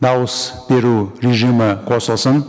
дауыс беру режимі қосылсын